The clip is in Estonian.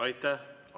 Aitäh!